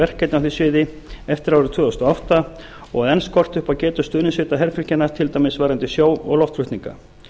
því sviði eftir árið tvö þúsund og átta og enn skortir upp á getu stuðningssveita herfylkjanna til dæmis varðandi sjó og loftflutninga